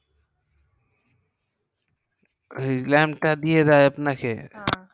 হু lamp দিয়ে দেয় আপনাকে হ্যাঁ